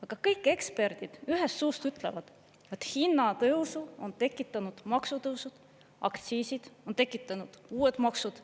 Aga kõik eksperdid ühest suust ütlevad, et hinnatõusu on tekitanud maksutõusud, aktsiisid, on tekitanud uued maksud.